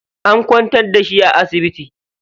An kwantar da shi a asibiti.